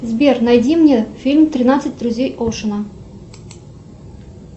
сбер найди мне фильм тринадцать друзей оушена